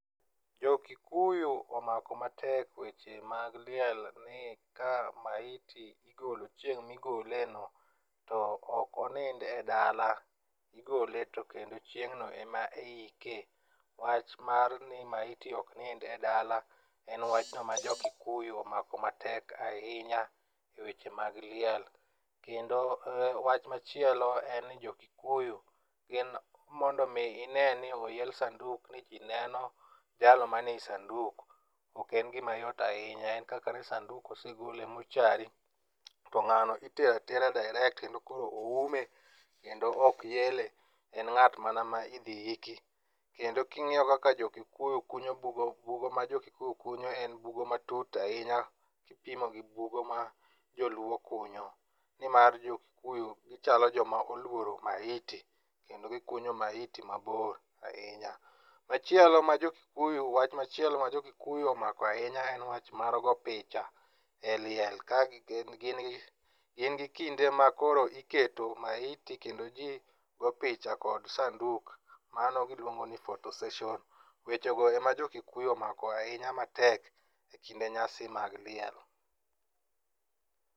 Jo Kikuyu omako matek weche mag liel ni ka maiti igolo chieng' migole no to ok onind e dala, igole tokendo chieng' no ema iike. Wach mar ni maiti ok nind e dala en wach no ma jo kikuyu omako matek ahinya e weche mag liel kendo wach machielo en ni jo Kikuyu gin mondo mi ine ni oyel sanduk ni jii neno jalno manie sanduk oken gima yot ahinya. En kaka ne sanduk osegol e mochari to ng'ano itero atera dairekt kendo koro oume kendo ok yele, en ngat mana ma idhi yiki. Kendo king'iyo kaka jo Kikuyu kunyo bugo, bugo ma jo Kikuyu kunyo en bugo matut ahinya gipimo gi bugo ma joluo kunyo nimar jo Kikuyu gichal joma oluoro maiti kendo gikunyo maiti mabor hinya. Machiel o ma jo Kikuyu, wach machielo ma jo Kikuyu omako ahinya en wach mar go picha e liel kagi, gin gi, gin gi kinde ma koro iketo maiti kendo jii go picha akod sanduk mano giluongo ni photo session. Weche go ema jo Kikuyu omako matek ekinde nyasi mag liel